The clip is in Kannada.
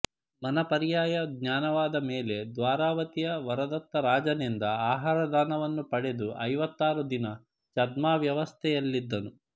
ಮನಃಪರ್ಯಯಜ್ಞಾನವಾದ ಮೇಲೆ ದ್ವಾರಾವತಿಯ ವರದತ್ತ ರಾಜನಿಂದ ಆಹಾರದಾನವನ್ನು ಪಡೆದು ಐವತ್ತಾರು ದಿನ ಛದ್ಮಾವಸ್ಥೆಯಲ್ಲಿದ್ದನು